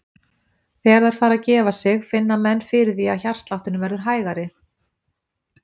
Þegar þær fara að gefa sig finna menn fyrir því að hjartslátturinn verður hægari.